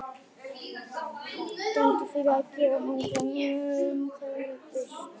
Dæmdur fyrir að gefa öndum kannabis